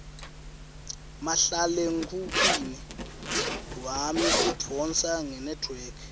mahlalekhukhwini wami udvonsa ngenetwork